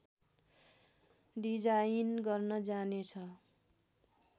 design गर्न जाने छ